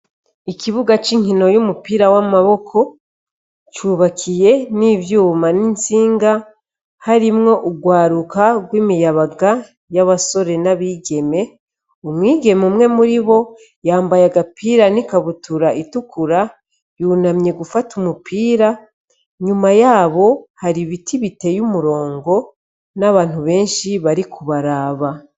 Ikibuga c'inkino y'umupira w'amaboko cubakiye n'ivyuma n'insinga harimwo urwaruka rw'imiyabaga y'abasore n'abigeme umwigeme umwe muri bo yambaye agapira n'ikabutura itukura yunamye gufata umupira nyuma yae abo hari ibiti biteye umurongo n'abantu benshi bari kubaraba.